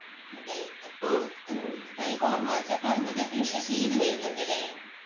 അതെ അപ്പൊ ഉം തനിക്ക് ഓർമ്മ വെച്ച കാലം തൊട്ടെ കൃഷി ചെയ്ത് വരുന്നുണ്ടല്ലേ